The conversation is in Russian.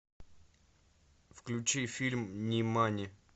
включи фильм нимани